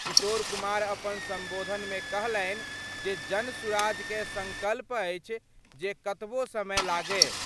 किशोर कुमार अपन संबोधन मे कहलनि जे जनसुराज कए संकल्प अछि जे कतबो समय लागय।